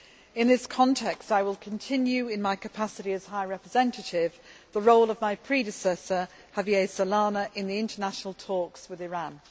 In this context, I will continue, in my capacity as High Representative, the role of my predecessor, Javier Solana, in the international talks with Iran.